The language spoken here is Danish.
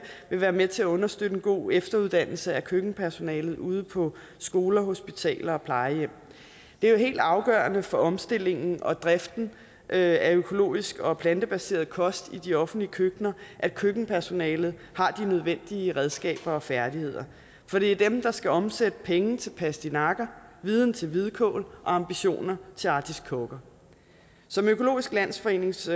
vil være med til at understøtte en god efteruddannelse af køkkenpersonalet ude på skoler hospitaler og plejehjem det er jo helt afgørende for omstillingen og driften af økologisk og plantebaseret kost i de offentlige køkkener at køkkenpersonalet har de nødvendige redskaber og færdigheder for det er dem der skal omsætte penge til pastinakker viden til hvidkål og ambitioner til artiskokker som økologisk landsforenings